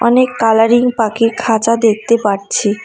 অনেক কালারিং পাখির খাঁচা দেখতে পাচ্ছি।